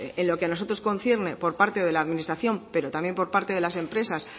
en lo que a nosotros nos concierne por parte de la administración pero también por parte de las empresas